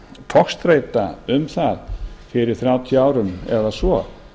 togstreita um það fyrir þrjátíu árum eða svo